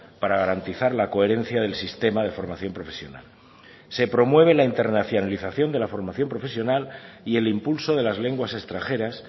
para garantizar la coherencia del sistema de formación profesional se promueve la internacionalización de la formación profesional y el impulso de las lenguas extranjeras